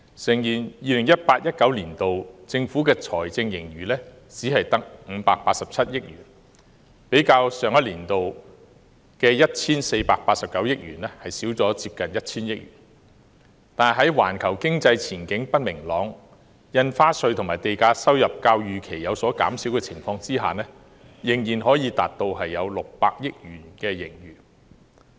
誠然 ，2018-2019 年度政府的財政盈餘只有587億元，較上年的 1,489 億元減少近 1,000 億元，但在環球經濟不明朗、印花稅和地價收入較預期有所減少的情況下，仍可達到近600億元盈餘。